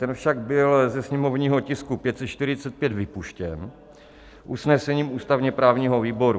Ten však byl ze sněmovního tisku 545 vypuštěn usnesením ústavně-právního výboru.